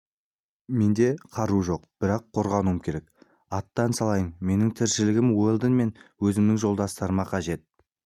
менде қару жоқ бірақ қорғануым керек аттан салайын менің тіршілігім уэлдон мен өзімнің жолдастарыма қажет